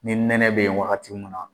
Ni nɛnɛ be yen wagati mun na